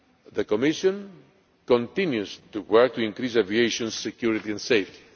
the Commission continues to work to increase aviation security and safety.